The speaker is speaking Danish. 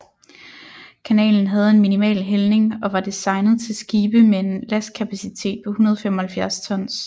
Kanalen havde en minimal hældning og var designet til skibe med en lastkapacitet på 175 tons